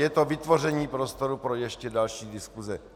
Je to vytvoření prostoru pro ještě další diskuse.